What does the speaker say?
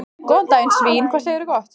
Góðan daginn svín, hvað segirðu gott?